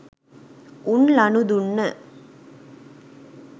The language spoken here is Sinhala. උන් ලනු දුන්න